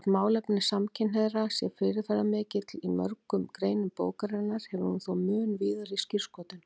Þótt málefni samkynhneigðra séu fyrirferðarmikil í mörgum greinum bókarinnar hefur hún þó mun víðari skírskotun.